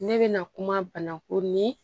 Ne bɛna kuma banaku ni